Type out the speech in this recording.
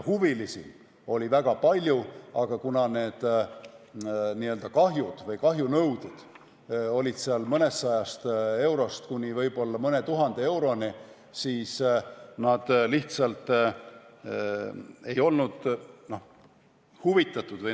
Huvilisi oli väga palju, aga kuna kahjunõuded olid seal mõnesajast eurost kuni mõne tuhande euroni, siis nad lihtsalt ei olnud huvitatud.